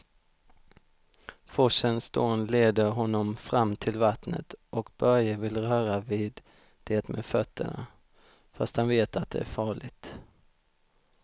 Forsens dån leder honom fram till vattnet och Börje vill röra vid det med fötterna, fast han vet att det är farligt.